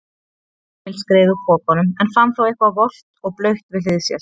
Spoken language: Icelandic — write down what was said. Emil skreið úr pokanum en fann þá eitthvað volgt og blautt við hlið sér.